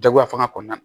Dagoya fanga kɔnɔna na